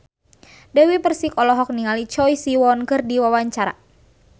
Dewi Persik olohok ningali Choi Siwon keur diwawancara